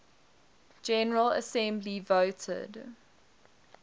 general assembly voted